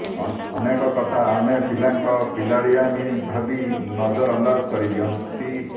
ଅନେକ କଥା ଆମେ ପିଲାଙ୍କ ପିଲାଳିଆମି ଭାବି ନଜରଅନ୍ଦାଜ କରି ଦିଅନ୍ତି